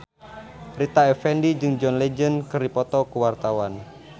Rita Effendy jeung John Legend keur dipoto ku wartawan